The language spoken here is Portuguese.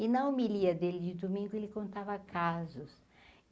E na homilia dele de domingo, ele contava casos.